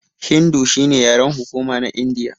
Hindu shine yaren hukuma na Indiya.